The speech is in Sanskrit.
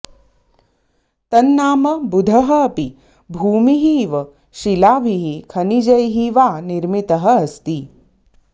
तन्नाम बुधः अपि भूमिः इव शिलाभिः खनिजैः वा निर्मितः अस्ति